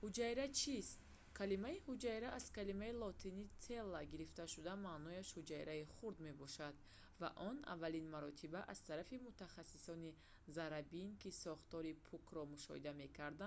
ҳуҷайра чист? калимаи ҳуҷайра аз калимаи лотинии «cella» гирифта шуда маънояш «ҳуҷраи хурд» мебошад ва он аввалин маротиба аз тарафи мутахассиси заррабин ки сохтори пӯкро мушоҳида мекард